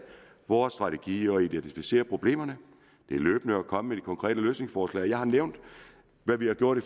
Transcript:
vores strategi at identificere problemerne og løbende at komme konkrete løsningsforslag jeg har nævnt hvad vi har gjort i